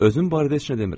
Özüm barədə heç nə demirəm.